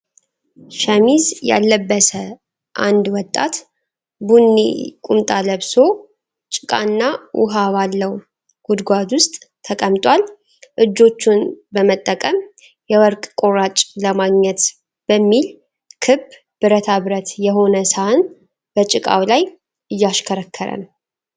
ሸሚዝ ያልለበሰ አንድ ወጣት ቡኒ ቁምጣ ለብሶ፣ ጭቃና ውሃ ባለው ጉድጓድ ውስጥ ተቀምጧል። እጆቹን በመጠቀም፣ የወርቅ ቁራጭ ለማግኘት በሚል፣ ክብ ብረታ ብረት የሆነ ሳህን በጭቃው ላይ እያሽከረከረ ነው።